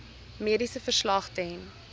mediese verslag ten